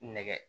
Nɛgɛ